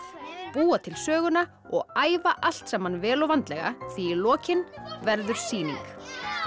búa til söguna og æfa allt saman vel og vandlega því í lokin verður sýning